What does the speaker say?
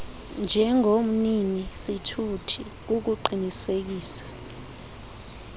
njengomnini sithuthi kukuqinisekisa